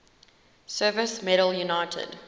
service medal united